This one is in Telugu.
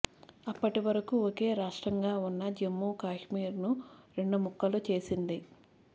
అప్పటి వరకు ఒకే రాష్ట్రంగా ఉన్న జమ్మూ కాశ్మీర్ను రెండు ముక్కలు చేసింది